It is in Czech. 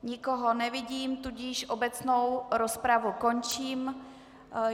Nikoho nevidím, tudíž obecnou rozpravu končím.